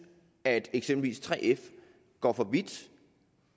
at eksempelvis 3f går for vidt